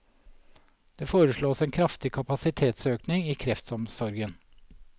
Det foreslås en kraftig kapasitetsøkning i kreftomsorgen.